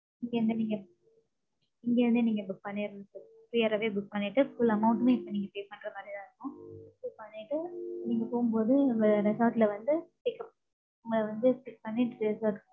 இங்கே இருந்து நீங்க இங்கே இருந்து நீங்க book பண்ணிரனும் sir. prior ஆவே book பண்ணிட்டு, full amount உமே இப்ப நீங்க pay பண்ற மாதிரிதான் இருக்கும். இப்படி பண்ணிட்டு, நீங்க போகும்போது, வ~ resort ல வந்து சீக்கிரம் உங்களை வந்து check பன்னிட்டு பேசுவார்.